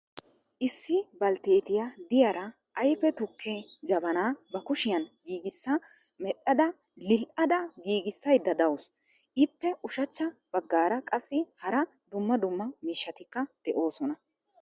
Issi balttetiya de'iyaara ayfe tukke jabbana ba kushshiyan giigissa medhdhada lil"ada giigissayda de'awusu. Ippe ushachcha baggaara qassi hara dumma dumma miishshatika de'oosona.